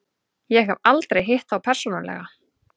Ég hef aldrei hitt þá persónulega.